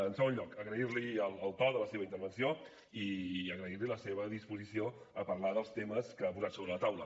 en segon lloc agrair li el to de la seva intervenció i agrair li la seva disposició a parlar dels temes que ha posat sobre la taula